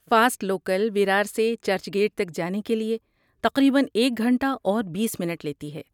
fast local Virar سے Churchgate تک جانے کے لیے تقریبا ایک گھنٹہ اور بیس منٹ لیتی ہے